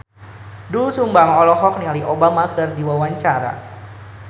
Doel Sumbang olohok ningali Obama keur diwawancara